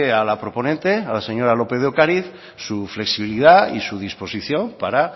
a la proponente a la señora lópez de ocariz su flexibilidad y su disposición para